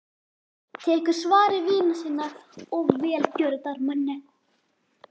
Tekur svari vina sinna og velgjörðamanna.